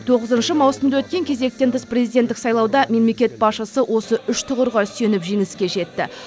тоғызыншы маусымда өткен кезектен тыс президенттік сайлауда мемлекет басшысы осы үш тұғырға сүйеніп жеңіске жетті